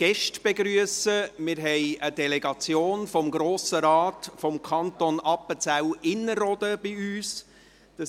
Wir haben eine Delegation des Grossen Rates aus dem Kanton Appenzell Innerrhoden bei uns: